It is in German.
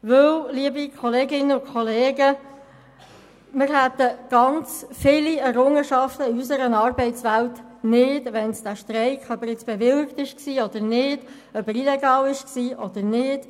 Weil, liebe Kolleginnen und Kollegen, wir sehr viele Errungenschaften in unserer Arbeitswelt nicht hätten, hätte es diesen Streik gegeben, ob er nun bewilligt war oder nicht, und ob er illegal war oder nicht.